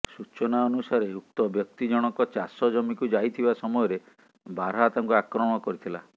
ସୂଚନା ଅନୁସାରେ ଉକ୍ତ ବ୍ୟକ୍ତି ଜଣକ ଚାଷ ଜମିିିକୁ ଯାଇଥିବା ସମୟରେ ବାରହା ତାଙ୍କୁ ଆକ୍ରମଣ କରିଥିଲା